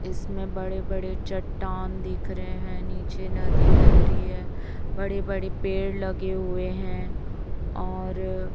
इसमें बड़े बड़े चट्टान दिख रहे हैं नीचे नदी बह रहीं है बड़े बड़े पेड़ लगे हुए हैं और--